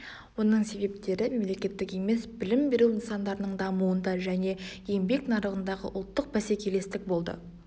оның себептері мемлекеттік емес білім беру нысандарының дамуында және еңбек нарығындағы ұлттық бәсекелестік болды